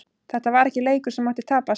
Þetta var ekki leikur sem mátti tapast.